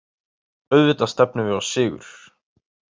Auðvitað stefnum við á sigur